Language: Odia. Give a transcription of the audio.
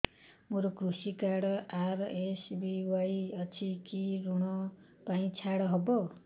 ମୋର କୃଷି କାର୍ଡ ଆର୍.ଏସ୍.ବି.ୱାଇ ଅଛି କି କି ଋଗ ପାଇଁ ଛାଡ଼ ହବ